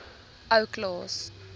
ou klaas